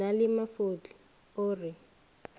na le mafotle o re